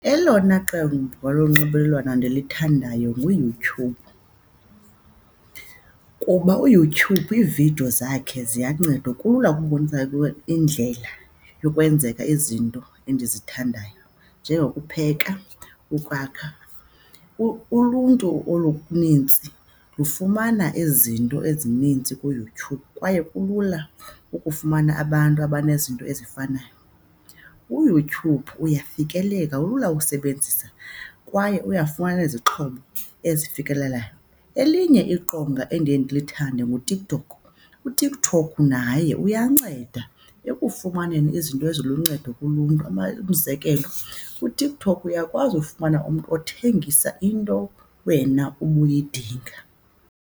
Elona qemva lonxibelelwano ndilithandayo nguYouTube kuba uYouTube iividiyo zakhe ziyanceda. Kulula ukubonisa indlela yokwenzeka izinto endizithandayo, njengokupheka, ukwakha. Uluntu olunintsi lufumana izinto ezininzi kuYouTube kwaye kulula ukufumana abantu abanezinto ezifanayo. UYouTube uyafikeleka, ulula usebenzisa kwaye uyafumana izixhobo ezifikelelayo. Elinye iqonga endiye ndilithande nguTikTok, uTikTok naye uyanceda ekufumaneni izinto eziluncedo kuluntu, umzekelo kuTikTok uyakwazi ufumana umntu othengisa into wena ubuyidinga.